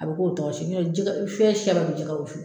A bi k'o tɔgɔ